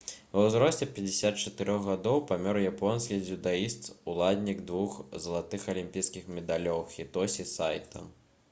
ва ўзросце 54 гадоў памёр японскі дзюдаіст уладальнік двух залатых алімпійскіх медалёў хітосі сайта